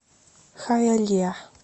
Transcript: хайалиа